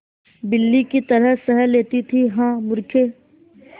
बिल्ली की तरह सह लेती थीहा मूर्खे